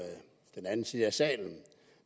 med den anden side af salen